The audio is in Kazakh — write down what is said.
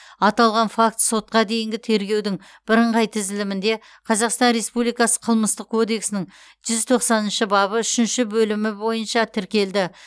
аталған факт сотқа дейінгі тергеудің бірыңғай тізілімінде қазақстан республикасы қылмыстық кодексінің жүз тоқсаныншы бабы үшінші бөлімі бойынша тіркелді